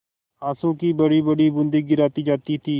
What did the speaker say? आँसू की बड़ीबड़ी बूँदें गिराती जाती थी